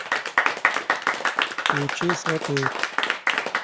включи сваты